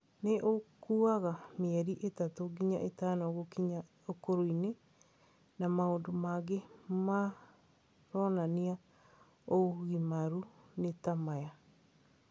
Nĩ ũkuaga mĩeri ĩtatũ nginya ĩtano gũkinya ũkũrũ-inĩ, na maũndũ mangĩ maronania ũgimaru nĩ ta maya;